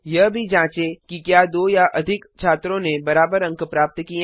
यह भी जांचें कि क्या दो या अधिक छात्रों ने बराबर अंक प्राप्त किए हैं